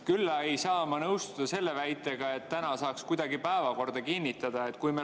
Küll aga ei saa ma nõustuda selle väitega, et täna saaks kuidagi päevakorda kinnitada.